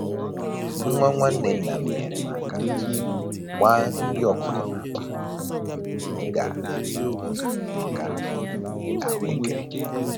Nwa nwanne nna m nyeere m aka gbaa nri ọkụkọ n'akpa, m ga-enyere ya aka wee ahụekere